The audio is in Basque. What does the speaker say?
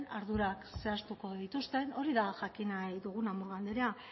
ardurak zehaztuko dituzten hori da jakin nahi duguna murga andrea